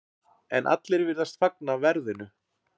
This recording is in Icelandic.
En allir virðast fagna verðinu.